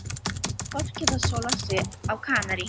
Fólkið að sóla sig á Kanarí.